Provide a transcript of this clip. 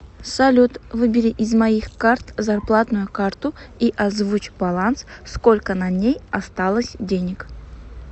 салют выбери из моих карт зарплатную карту и озвучь баланс сколько на ней осталось денег